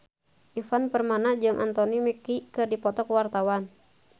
Ivan Permana jeung Anthony Mackie keur dipoto ku wartawan